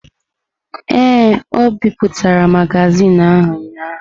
Ee, o bipụtara magazin ahụ ụnyahụ.